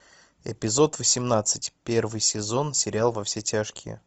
эпизод восемнадцать первый сезон сериал во все тяжкие